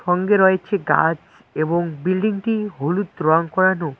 সঙ্গে রয়েছে গাছ এবং বিল্ডিংটি হলুদ রং করানো।